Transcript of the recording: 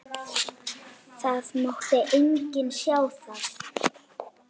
Það mátti enginn sjá það.